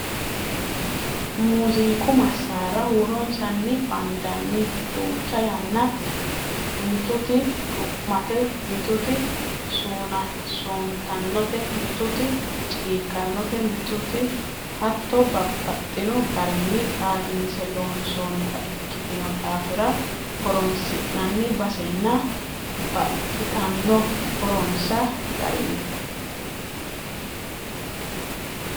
Muziiqu masara huuronsani bandani duucha yaanna mituti du'mate mituti suuntanote mituti ciqanote mituti hatto babbaxxino garinni xaadinse loonsonnita ikkitino daafira horonsi'nanni basensa baxxittano horonsa garinni.